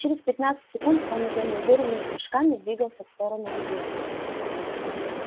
через пятнадцать секунд он уже неуверенными прыжками двигался в сторону людей